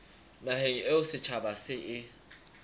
naheng eo setjhaba se e